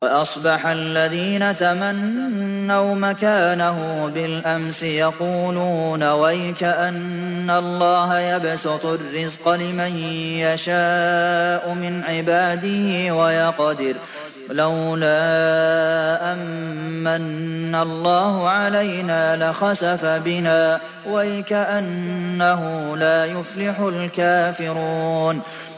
وَأَصْبَحَ الَّذِينَ تَمَنَّوْا مَكَانَهُ بِالْأَمْسِ يَقُولُونَ وَيْكَأَنَّ اللَّهَ يَبْسُطُ الرِّزْقَ لِمَن يَشَاءُ مِنْ عِبَادِهِ وَيَقْدِرُ ۖ لَوْلَا أَن مَّنَّ اللَّهُ عَلَيْنَا لَخَسَفَ بِنَا ۖ وَيْكَأَنَّهُ لَا يُفْلِحُ الْكَافِرُونَ